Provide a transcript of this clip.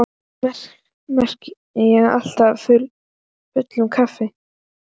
Samt meðtek ég af fullum krafti.